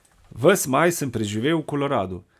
Ves maj sem preživel v Koloradu.